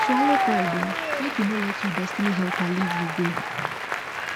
swallow pride o mek e no let yur destiny helper live you go